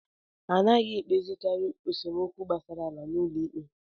Anaghị ekpezikari esemokwu gbasara ala n'ụlọ ikpe.